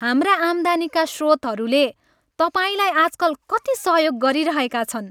हाम्रा आम्दानीका स्रोतहरूले तपाईँलाई आजकल कति सहयोग गरिरहेका छन्?